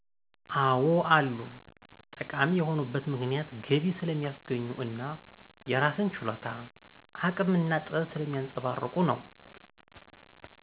አዎ አሉ። ጠቃሚ የሆኑበት ምክንያት ገቢ ስለሚያስገኙ እና የራስን ችሎታ፣ አቅም እና ጥበብ ስለሚያንፀባርቁ ነው።